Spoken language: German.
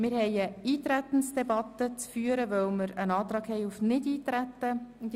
Wir haben eine Eintretensdebatte zu führen, weil ein Antrag auf Nichteintreten vorliegt.